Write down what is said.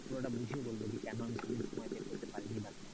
পুরোটা বুঝিয়ে বলবো যে কেন আমি সেদিন সময় বের করতে পারি নি,